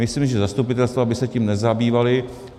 Myslím, že zastupitelstva by se tím nezabývala.